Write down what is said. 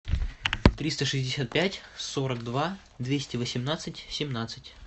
триста шестьдесят пять сорок два двести восемнадцать семнадцать